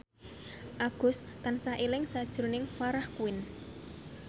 Agus tansah eling sakjroning Farah Quinn